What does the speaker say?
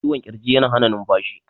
cikwon kirji yana Hana numfashi